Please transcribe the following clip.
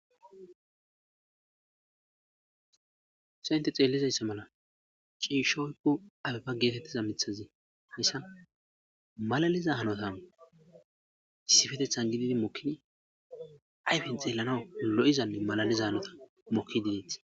Se inte xeellizayssa mala ciishoykko abefa geetettiza mithazi hayssa malaliza hanotan sifetethan gididi mokkini ayfen xeellana lo'izanne malaliza hanota mokki dedeet.